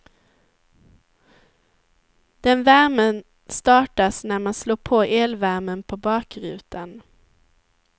Den värmen startas när man slår på elvärmen på bakrutan.